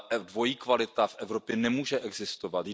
Dvojí kvalita v Evropě nemůže existovat.